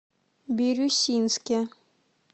бирюсинске